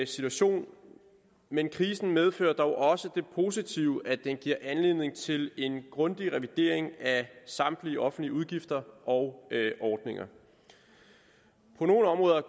situation men krisen medfører dog også det positive at den giver anledning til en grundig revidering af samtlige offentlige udgifter og ordninger på nogle områder